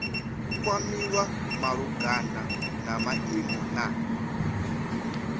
kwamiwa malugana na maimo na